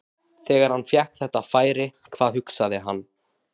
Þegar hann fékk þetta færi, hvað hugsaði hann?